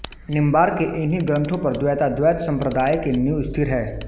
निम्बार्क के इन्ही ग्रन्थों पर द्वैताद्वैत सम्प्रदाय की नींव स्थिर है